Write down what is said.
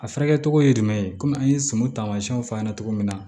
A furakɛ cogo ye jumɛn ye kɔmi an ye sɔmɔ taamasiyɛnw fɔ a ɲɛna cogo min na